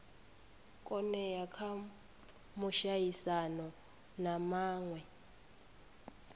oea kha muaisano na mawe